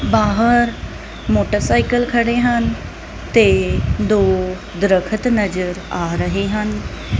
ਬਾਹਰ ਮੋਟਰਸਾਈਕਲ ਖੜੇ ਹਨ ਤੇ ਦੋ ਦਰਖਤ ਨਜ਼ਰ ਆ ਰਹੇ ਹਨ।